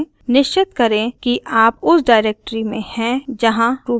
निश्चित करें कि आप उस डाइरेक्टरी में हैं जहाँ ruby फाइल है